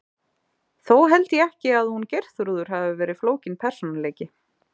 Þó held ég ekki að hún Geirþrúður hafi verið flókinn persónuleiki.